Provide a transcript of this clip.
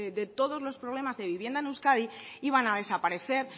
de todos los problemas de vivienda en euskadi iban a desaparecer